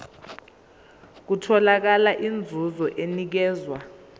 nokuthola inzuzo enikezwa